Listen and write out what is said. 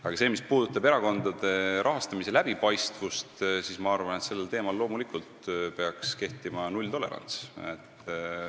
Aga mis puudutab erakondade rahastamise läbipaistvust, siis ma arvan, et sellel teemal peaks loomulikult kehtima nulltolerants.